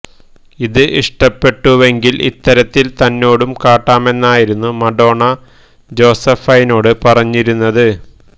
ഇത് ഇഷ്ടപ്പെട്ടുവെങ്കില് ഇത്തരത്തില് തന്നോടും കാട്ടാമെന്നായിരുന്നു മഡോണ ജോസഫൈനോട് പറഞ്ഞിരുന്നത്